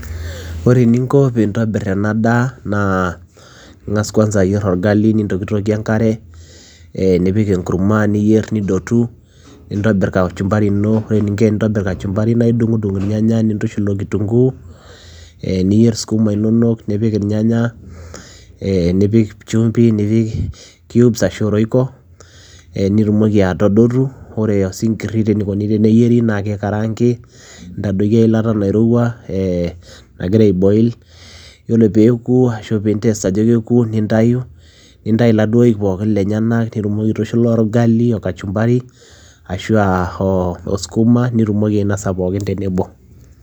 Ore eninko peyiee into intobirr ena daa naa ingas eyier orgali nintokitokie enkare nipick engurma nidotuu nintobirr kachumbari niyier skuma cube nitumoki atadotuu oree osinkirii intadoiki eilataa nairowua nagiraa aiboil oree peyiee ekuu nintayuu nintayuu iloik nintushul ookachumbari nitumokii ainosa teneboo